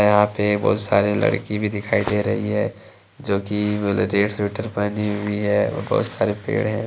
यहां पे बहुत सारी लड़की भी दिखाई दे रही है जो कि रेड स्वेटर पहने हुई है और बहुत सारे पेड़ हैं ।